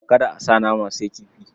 Kada a sa nama, sai kifi.